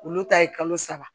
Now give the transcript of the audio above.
Olu ta ye kalo saba